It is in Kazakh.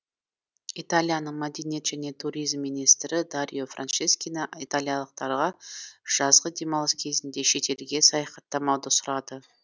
италияның мәдениет және туризм министрі дарио франческина италиялықтарға жазғы демалыс кезінде шетелге саяхаттамауды сұрады